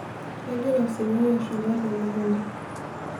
kegira osinyai ashola temukunta